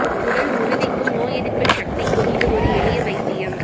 உடல் உறுதிக்கும் நோய் எதிர்ப்பு சக்திக்கும் இது ஒரு எளிய வைத்தியம்